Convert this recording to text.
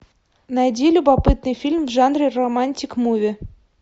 найди любопытный фильм в жанре романтик муви